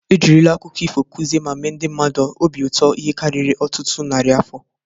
E jirila aụkọ ifo kụzie ma mee ndị mmadụ obi ụtọ ihe karịrị ọtụtụ narị afọ.